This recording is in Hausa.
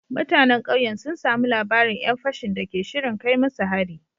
Mutanen kauyen sun samu labarin ‘yan fashin da ke shirin kai musu hari